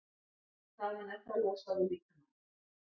Þaðan er það losað úr líkamanum.